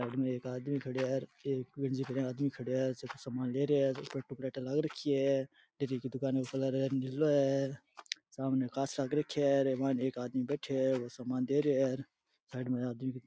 side में एक आदमी खड़यो है एक बीर जग्या एक आदमी खड़यो है जको सामान ले रहियो है लाग रखी है सामने कांच लाग रखयो है और मायने एक आदमी बैठयो है वो सामान दे रहियो है साइड में आदमी --